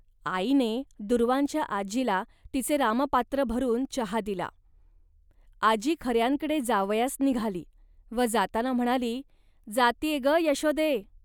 आईने दूर्वांच्या आजीला तिचे रामपात्र भरून चहा दिला. आजी खऱ्यांकडे जावयास निघाली व जाताना म्हणाली, "जात्ये, ग, यश्वदे